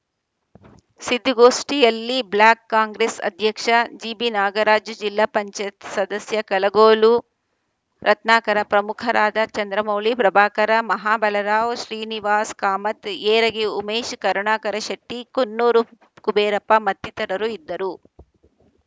ಸಿದ್ದಿಗೋಷ್ಠಿಯಲ್ಲಿ block Congress ಅಧ್ಯಕ್ಷ ಜಿಬಿನಾಗರಾಜ ಜಿಲ್ಲಾ ಪಂಚಾಯತ್ ಸದಸ್ಯ ಕಲಗೋಲು ರತ್ನಾಕರ ಪ್ರಮುಖರಾದ ಚಂದ್ರಮೌಳಿ ಪ್ರಭಾಕರ ಮಹಾಬಲರಾವ್‌ ಶ್ರೀನಿವಾಸ ಕಾಮತ್‌ ಏರಗಿ ಉಮೇಶ ಕರುಣಾಕರ ಶೆಟ್ಟಿ ಕುನ್ನೂರು ಕುಬೇರಪ್ಪ ಮತ್ತಿತರರು ಇದ್ದರು